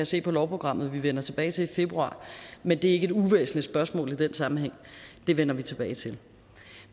se på lovprogrammet at vi vender tilbage til i februar men det er ikke et uvæsentligt spørgsmål i den sammenhæng det vender vi tilbage til